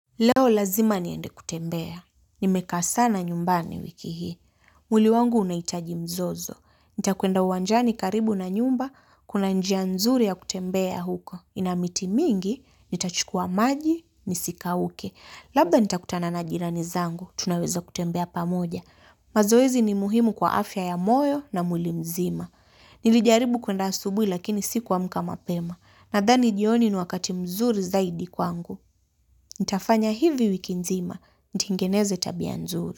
Leo lazima niende kutembea. Nimekaa sana nyumbani wiki hii. Mwili wangu unaitaji mzozo. Nitakwenda uwanjani karibu na nyumba, kuna njia nzuri ya kutembea huko. Ina miti mingi, nitachukua maji, nisikauke. Labda nitakutana na jirani zangu, tunaweza kutembea pamoja. Mazoezi ni muhimu kwa afya ya moyo na mwili mzima. Nilijaribu kuenda asubui lakini sikuamka mapema. Nadhani jioni ni wakati mzuri zaidi kwangu. Nitafanya hivi wiki nzima, ntengeneze tabia nzuri.